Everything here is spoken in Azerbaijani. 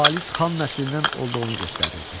Xalis xan nəslindən olduğunu göstərirdi.